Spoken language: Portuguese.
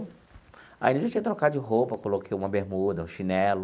Aí, eu já tinha trocado de roupa, coloquei uma bermuda, um chinelo.